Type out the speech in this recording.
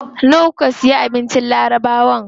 Nawa kuka siya abincin labarawan?